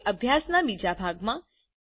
હવે અભ્યાસના બીજા ભાગમાં